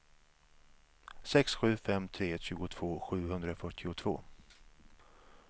sex sju fem tre tjugotvå sjuhundrafyrtiotvå